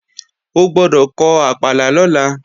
O gbọ́dọ̀ kọ àpàlà lọ́la